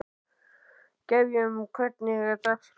Gefjun, hvernig er dagskráin?